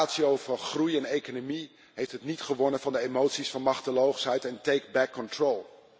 De ratio van groeiende economie heeft het niet gewonnen van de emoties van machteloosheid en take back control.